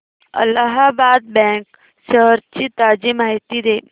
Allahabad bank shares ची ताजी माहिती दे